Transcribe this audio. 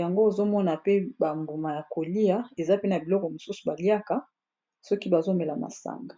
yango ozomona pe bambuma ya kolia eza pena biloko mosusu baliaka soki bazomela masanga